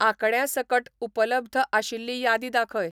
आंकड्यांसकट उपलब्ध आशिल्ली यादी दाखय